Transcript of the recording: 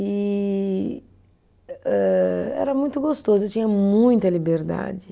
E âh, era muito gostoso, eu tinha muita liberdade.